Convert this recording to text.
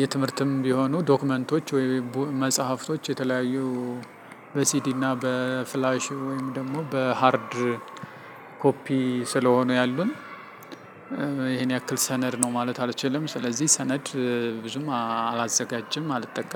የትምህርትም ቢሆኑ ዶክመንቶች ወይም መጽሐፍቶች የተለያዩ በሲዲ እና በፍላሽ ወይም ደግሞ በሃርድ ኮፒ ስለሆነ ያሉን። ይሄን ያክል ሰነድ ነው ማለት አልችልም። ስለዚህ ሰነድ ብዙም አላዘጋጅም አልጠቀም